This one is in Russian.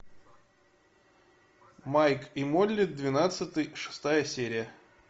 майк и молли двенадцатый шестая серия